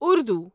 Urdu